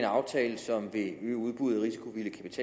aftale som vil øge udbuddet